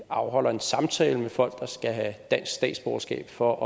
afholder en samtale med folk der skal have dansk statsborgerskab for at